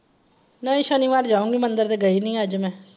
ਨਹੀਂ ਸ਼ਨੀਵਾਰ ਜਾਊਂਗੀ ਮੰਦਿਰ ਤੇ ਗਈ ਨੀ ਅੱਜ ਮੈਂ।